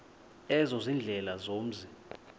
ezo ziindlela zomzi